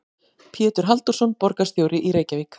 Pétur Halldórsson, borgarstjóri í Reykjavík.